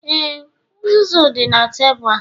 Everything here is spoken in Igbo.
Ee, uzuzu dị na tebụl a